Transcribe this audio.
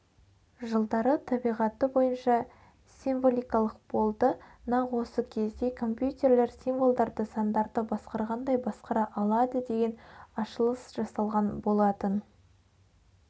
жылдары табиғаты бойынша символикалық болды нақ осы кезде компьютерлер символдарды сандарды басқарғандай басқара алады деген ашылыс жасалған болатын